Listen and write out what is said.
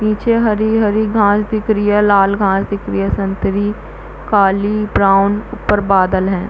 नीचे हरी - हरी घास दिख रही है लाल घास दिख रही है संतरी काली ब्राउन ऊपर बादल है।